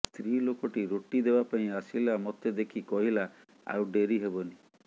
ସ୍ତ୍ରୀ ଲୋକଟି ରୋଟି ଦେବାପାଇଁ ଆସିଲା ମତେ ଦେଖି କହିଲା ଆଉ ଡ଼େରି ହେବନି